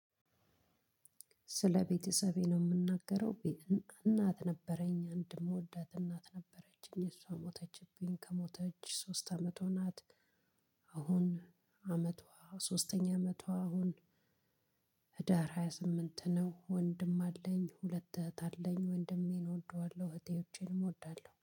ስለ ቤተሰቤ ነው የምናገረው እናት ነበረኝ አንድ የምወዳት እናት ነበረችኝ። እሷ ሞተችብኝ። ከሞተች ሶስት አመት ወናት። አሁን አመቷ ሶስተኛ አመቷ አሁን ህዳር ሃያ ስምንት ነው። ወንድም አለኝ። ሁለት እህት አለኝ። ወንድሜን እወደዋለሁ። እህቴዎቼን እወዳለሁ።